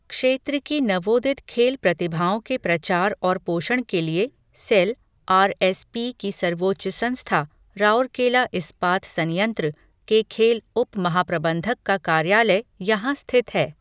क्षेत्र की नवोदित खेल प्रतिभाओं के प्रचार और पोषण के लिए सेल, आर एस पी की सर्वोच्च संस्था, राउरकेला इस्पात संयंत्र, के खेल उप महाप्रबंधक का कार्यालय यहां स्थित है।